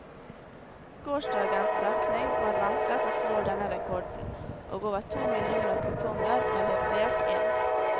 Gårsdagens trekning var ventet å slå denne rekorden, og over to millioner kuponger var levert inn.